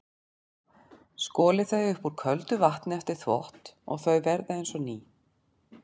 Skolið þau upp úr köldu vatni eftir þvott og þau verða eins og ný.